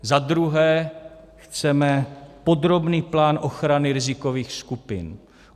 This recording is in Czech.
Za druhé chceme podrobný plán ochrany rizikových skupin.